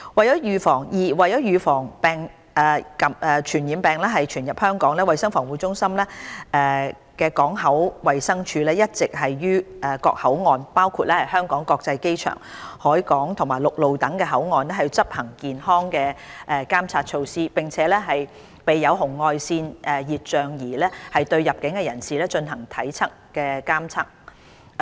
二為預防傳染病傳入香港，衞生防護中心港口衞生處一直於各口岸，包括香港國際機場、海港及陸路等口岸，執行健康監察措施，並備有紅外線熱像儀對入境人士進行體溫監測。